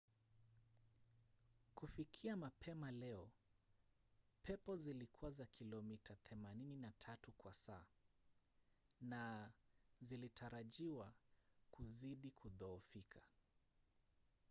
kufikia mapema leo pepo zilikuwa za kilomita 83 kwa saa na zilitarajiwa kuzidi kudhoofika